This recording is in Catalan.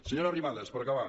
senyora arrimadas per acabar